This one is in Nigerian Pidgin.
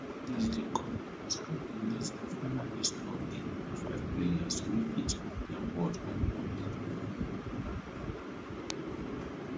dis dey com as caf release di final list of di five players wey fit win di award on oneday